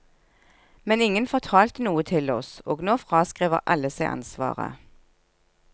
Men ingen fortalte noe til oss, og nå fraskriver alle seg ansvaret.